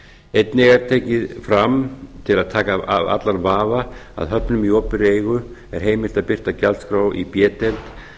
einnig er tekið fram til að taka af allan vafa að höfnum í opinberri eigu er heimilt að birta gjaldskrá í b deild